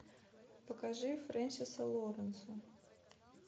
покажи френсиса лоуренса